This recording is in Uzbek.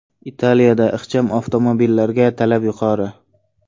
Italiyada ixcham avtomobillarga talab yuqori.